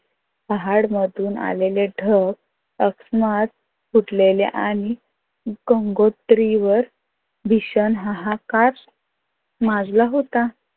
पहाड मधून आलेले डग फुटलेले आणि गंगोत्रीवर भीषण हाहाकार माजला होता.